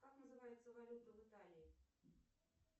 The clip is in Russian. как называется валюта в италии